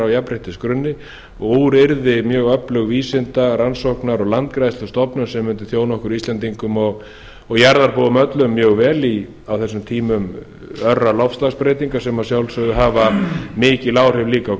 jafnréttisgrunni og úr yrði mjög öflug vísinda rannsóknar og landgræðslustofnun sem mundi þjóna okkur íslendingum og jarðarbúum öllum mjög vel á tímum örra loftslagsbreytinga sem að sjálfsögðu hafa mikil áhrif líka á